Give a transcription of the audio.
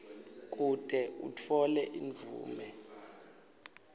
kute utfole imvume